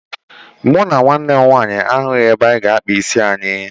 Mụ na nwanne m nwaanyị ahụghị ebe anyị ga-akpa isi anyị.